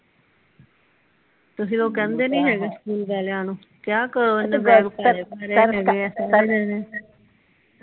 ਤੁਸੀ ਲੋਕ ਕਹਿੰਦੇ ਨਹੀਂ ਹੈਗੇ ਸਕੂਲ ਵਾਲਿਆਂ ਨੂੰ ਕਿਹਾ ਕਰੋ ਓਹਨਾ ਨੂੰ